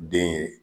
Den ye